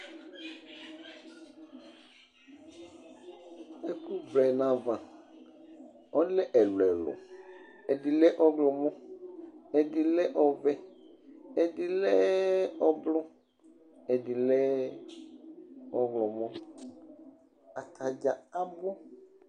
Ɛkʋvlɛ nʋ ayava, ɔlɛ ɛlʋ ɛlʋ Ɛdɩ lɛ ɔɣlɔmɔ, ɛdɩ lɛ ɔvɛ, ɛdɩ lɛ ʋblʋ Atadza abu